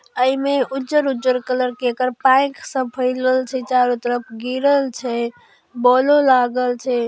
ओमे उज्जर-उज्जर कलर के चारो तरफ गिरल छै बौलो लागल छै।